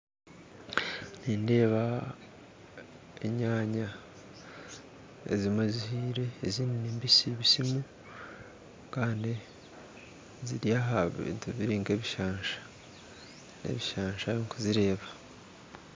Nindeeba enyanya ezimwe zihiire ezindi nimbisimbisimu Kandi ziri ahabintu biri nkebisansha ebishansha ndikuzireeba